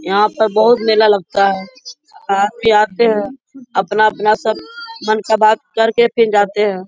यहाँ पर बहोत मेला लगता हैआदमी आते हैअपना-अपना सब मन का बात कर के फिर जाते हैं |